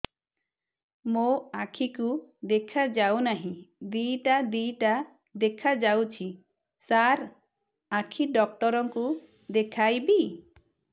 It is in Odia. ମୋ ଆଖିକୁ ଦେଖା ଯାଉ ନାହିଁ ଦିଇଟା ଦିଇଟା ଦେଖା ଯାଉଛି ସାର୍ ଆଖି ଡକ୍ଟର କୁ ଦେଖାଇବି